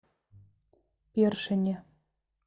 першине